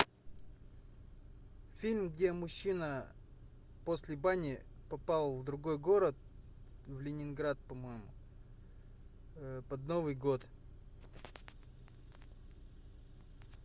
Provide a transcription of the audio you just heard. фильм где мужчина после бани попал в другой город в ленинград по моему под новый год